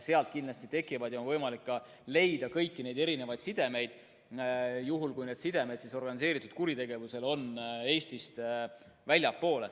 Sealt kindlasti on võimalik leida kõiki neid erinevaid sidemeid, juhul kui organiseeritud kuritegevusel on need sidemed Eestist väljaspool.